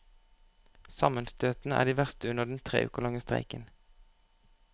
Sammenstøtene er de verste under den tre uker lange streiken.